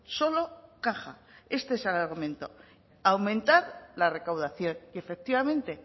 solo caja este es el argumento aumentar la recaudación y efectivamente